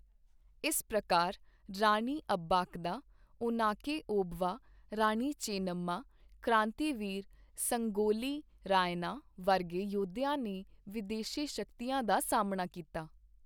ਇਸ ਪ੍ਰਕਾਰ ਰਾਣੀ ਅਬਬਾਕਦਾ, ਓਨਾਕੇ ਓਬਵਾ, ਰਾਣੀ ਚੇਂਨੰਮਾ, ਕ੍ਰਾਂਤੀਵੀਰ ਸੰਗੋਲੀ ਰਾਯੰਨਾ ਵਰਗੇ ਯੋਧਿਆਂ ਨੇ ਵਿਦੇਸ਼ੀ ਸ਼ਕਤੀਆਂ ਦਾ ਸਾਹਮਣਾ ਕੀਤਾ।